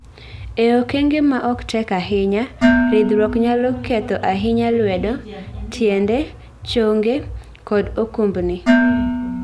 E okenge ma ok tek ahinya, ridhruok nyalo ketho ahinya lwedo, tiende, chonge, kod okumbni.